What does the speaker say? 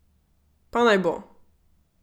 Pa naj bo.